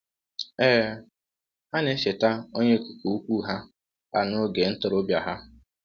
Ee, ha na-echeta Onye Okike Ukwu ha ha n’oge ntorobịa ha.